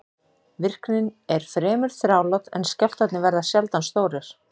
Virknin er fremur þrálát en skjálftarnir verða sjaldan stórir.